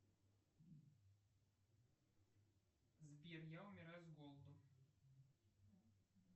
сбер я умираю с голоду